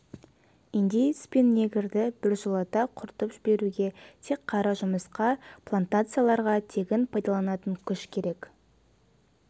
индеец пен негрді біржолата құртып жіберуге тек қара жұмысқа плантацияларға тегін пайдаланатын күш керек